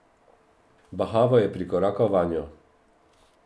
Bahavo je prikorakal vanjo.